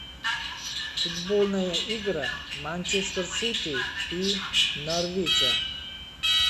футбольная игра манчестер сити и норвича